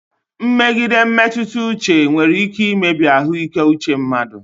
Mmegide mmetụta uche nwere ike imebi ahụike uche mmadụ.